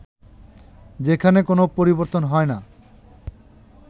যেখানে কোন পরিবর্তন হয় না